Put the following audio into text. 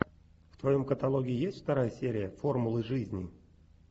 в твоем каталоге есть вторая серия формулы жизни